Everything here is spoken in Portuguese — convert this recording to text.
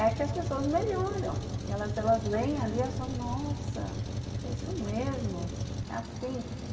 É que as pessoas melhoram, que elas lêem ali e falam, nossa, é isso mesmo, é assim.